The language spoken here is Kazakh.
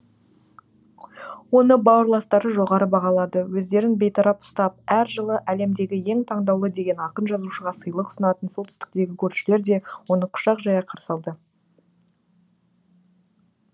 оны бауырластары жоғары бағалады өздерін бейтарап ұстап әр жылы әлемдегі ең таңдалуы деген ақын жазушыға сыйлық ұсынатын солтүстіктегі көршілер де оны құшақ жая қарсы алды